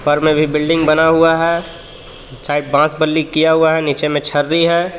फर में भी बिल्डिंग बना हुआ है साइड बास बल्ली किया हुआ है निचे मे छरी है.